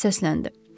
Filip səsləndi.